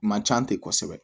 Man ca ten kosɛbɛ